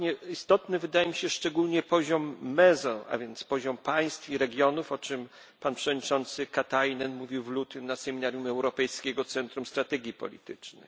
Istotny wydaje mi się szczególnie poziom mezo, a więc poziom państw i regionów, o czym wiceprzewodniczący Komisji Jyrki Katainen mówił w lutym na seminarium Europejskiego Centrum Strategii Politycznej.